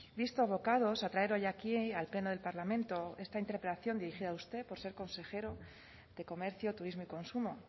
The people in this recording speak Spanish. visto abocados a traer hoy aquí al pleno del parlamento esta interpelación dirigida a usted por ser consejero de comercio turismo y consumo